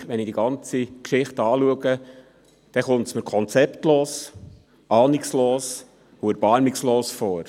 Trotzdem: Wenn ich die ganze Geschichte betrachte, kommt sie mir konzeptlos, ahnungslos und erbarmungslos vor.